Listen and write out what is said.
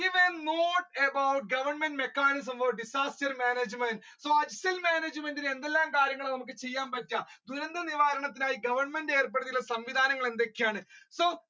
Give a note about government mechanism of disaster management? disaster management in നമ്മുക്ക് എന്തൊക്കെ കാര്യങ്ങളാണ് ചെയ്യാൻ പറ്റുക ദുരന്ത നിവാരണത്തിനായി government ഏർപെടുത്തിയുള്ള സംവിധാനങ്ങൾ എന്തൊക്കെയാണ്? so